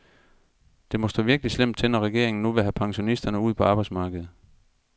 Det må stå virkelig slemt til, når regeringen nu vil have pensionisterne ud på arbejdsmarkedet.